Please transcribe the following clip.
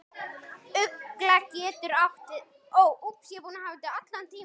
Ugla getur átt við um